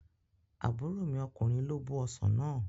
Àbúrò mi ọkùnrin ló bó ọsàn náà